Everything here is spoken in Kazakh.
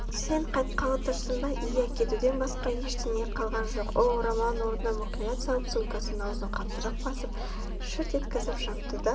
сен қайтқалы тұрсың ба иә кетуден басқа ештеңе қалған жоқ ол орамалын орнына мұқият салып сумкасының аузын қаттырақ басып шырт еткізіп жапты да